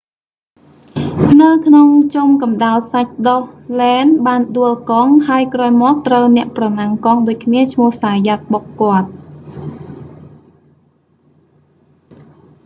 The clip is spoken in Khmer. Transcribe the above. នៅក្នុងជុំកំដៅសាច់ដុះ lenz បានដួលកង់ ហើយក្រោយមកត្រូវអ្នកប្រណាំងកង់ដូចគ្នាឈ្មោះ zayat បុកគាត់